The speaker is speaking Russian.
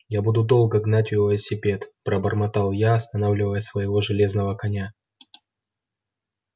я буду долго гнать велосипед пробормотал я останавливая своего железного коня